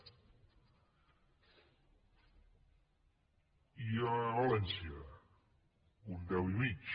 i a valència un deu i mig